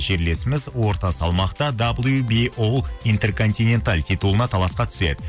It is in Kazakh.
жерлесіміз орта салмақта титулына таласқа түседі